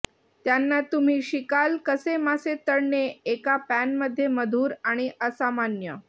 त्यांना तुम्ही शिकाल कसे मासे तळणे एका पॅन मध्ये मधुर आणि असामान्य